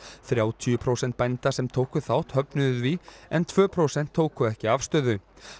þrjátíu prósent bænda sem tóku þátt höfnuðu því en tvö prósent tóku ekki afstöðu